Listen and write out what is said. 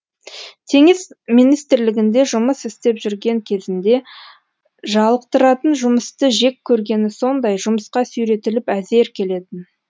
теңіз министрлігінде жұмысістеп жүрген кезінде жалықтыратынжұмысты жек көргені сондай жұмысқа сүйретіліп әзер келетін